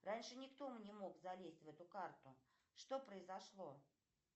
раньше никто не мог залезть в эту карту что произошло